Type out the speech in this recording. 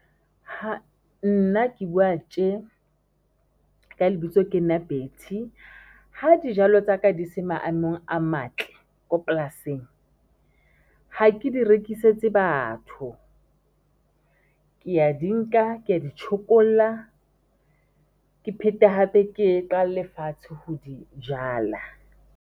Nna ke buwa tje ka lebitso ke nna Betty ha dijalo tsaka di se ma emong a matle ko polasing, ha ke di rekisetse batho, ke ya di nka ke ya di tjhokolla, ke phete hape ke qale fatshe ho di jala.